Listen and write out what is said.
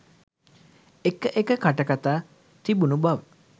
එක එක කටකතා තිබුණු බව